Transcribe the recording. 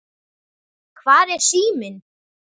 Hvar er síminn?